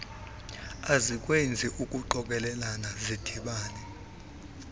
ezikwezi ngqokelela zidibana